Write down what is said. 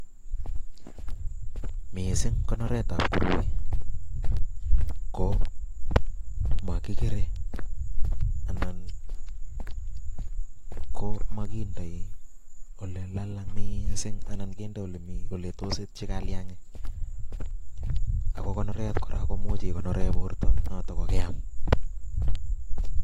Missing konoretab tuguchu ko mokikere anan komokindoi ole lalang missing anan kinde ole tos kuchut kalyangiik. Oko konorenyin kora imuche ikonoreen bortoo notok ko keam